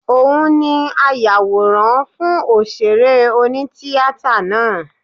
Òun ni ayàwòrán fún òṣèré oní-tíatà náà